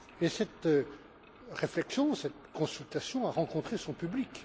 Cette réflexion, cette consultation a rencontré son public.